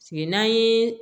Sigi n'an ye